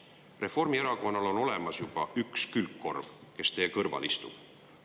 Reformierakonnal on juba olemas üks külgkorv, kes teie kõrval istub.